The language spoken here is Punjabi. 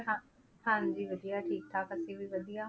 ਹਾਂ ਹਾਂਜੀ ਵਧੀਆ ਠੀਕ ਠਾਕ ਅਸੀਂ ਵੀ ਵਧੀਆ।